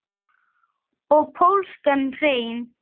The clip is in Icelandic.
Og pólskan hreim.